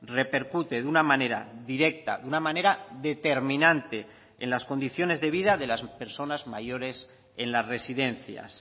repercute de una manera directa de una manera determinante en las condiciones de vida de las personas mayores en las residencias